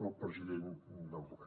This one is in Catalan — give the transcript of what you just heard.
pel president del govern